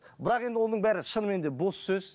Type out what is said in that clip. бірақ енді оның бәрі шынымен де бос сөз